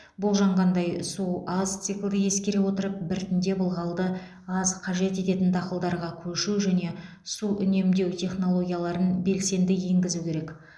болжанғандай су аз циклды ескере отырып біртіндеп ылғалды аз қажет ететін дақылдарға көшу және су үнемдеу технологияларын белсенді енгізу керек